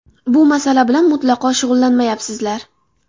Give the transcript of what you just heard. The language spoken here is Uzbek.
Bu masala bilan mutlaqo shug‘ullanmayapsizlar.